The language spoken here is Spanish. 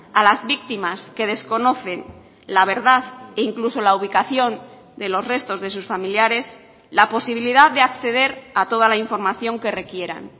a las víctimas que desconocen la verdad e incluso la ubicación de los restos de sus familiares la posibilidad de acceder a toda la información que requieran